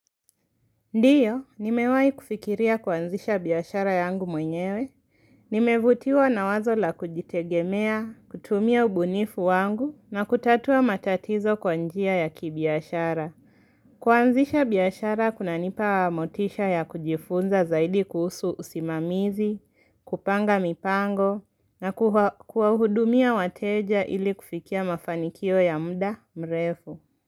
Ndio, nimewahi kufikiria kuanzisha biashara yangu mwenyewe. Nimevutiwa na wazo la kujitegemea, kutumia ubunifu wangu, na kutatua matatizo kwa njia ya kibiashara. Kuanzisha biashara, kuna nipa motisha ya kujifunza zaidi kuhusu usimamizi, kupanga mipango, na kuhudumia wateja ili kufikia mafanikio ya mda mrefu.